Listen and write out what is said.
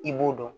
I b'o dɔn